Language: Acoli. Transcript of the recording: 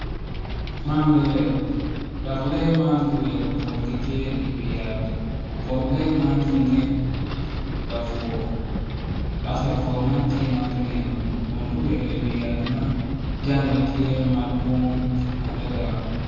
Man lee dok lee man gin guito kun gitye i wiyat kun lee man ntinge labowr dok labwor man tye ma gunino kun guito i wi yat ma jange tye madwog adada.